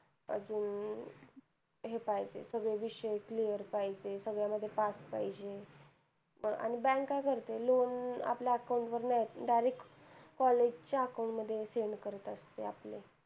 अजून हे पाहिजे सगळे विषय clear पाहिजे. सगळ्या विषयात पास पाहिजे आणि bank काय करते loan आपल्या account वर नाय येत, direct college च्या account मध्ये send करत असते आपले.